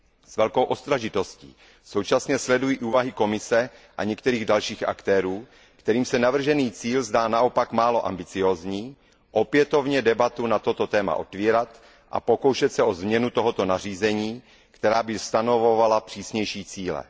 S velkou ostražitostí současně sleduji snahy Komise a některých dalších aktérů, kterým se navržený cíl zdá naopak málo ambiciózní, opětovně debatu na toto téma otevírat a pokoušet se o změnu tohoto nařízení, která by stanovovala přísnější cíle.